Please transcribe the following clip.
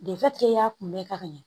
y'a kunbɛ ka ɲɛ